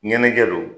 Ɲɛnajɛ don